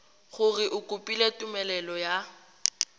gore o kopile tumelelo ya